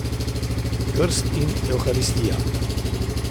Krst in Evharistija!